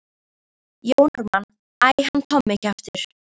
Jón Ármann: Æ, hann Tommi kjaftur.